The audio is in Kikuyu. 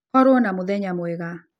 Korwo na mũthenya mwega.